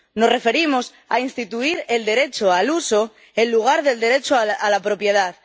Nos referimos a instituir el derecho al uso en lugar del derecho a la propiedad.